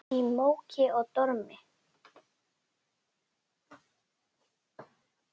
Í móki og dormi.